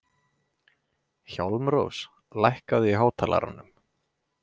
Hjálmrós, lækkaðu í hátalaranum.